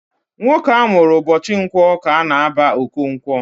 Nwoke amụrụ ụbọchị Nkwọ ka a na-aba Okonkwọ